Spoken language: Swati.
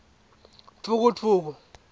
dvukudvuku